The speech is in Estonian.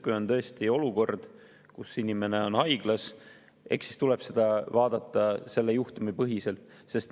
Kui on tõesti olukord, kus inimene on haiglas, eks siis tuleb seda vaadata selle juhtumi põhiselt.